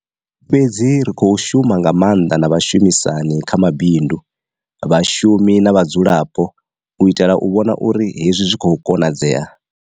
Fhedzi ri khou shuma nga maanḓa na vha shumisani kha mabindu, vha shumi na vha dzulapo u itela u vhona uri hezwi zwi khou konadzea.